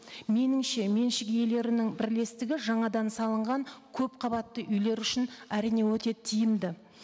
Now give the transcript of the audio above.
меніңше меншік иелерінің бірлестігі жаңадан салынған көпқабатты үйлер үшін әрине өте тиімді